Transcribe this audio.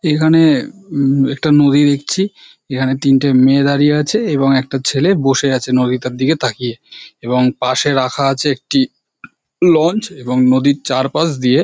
এখানে উমম একটি নদী দেখছি যেখানে তিনটি মেয়ে দাঁড়িয়ে আছে এবং একটা ছেলে বসে আছে নদী তার দিকে তাকিয়ে এবং পাশে রাখা আছে একটি লঞ্চ এবং নদীর চারপাশ দিয়ে--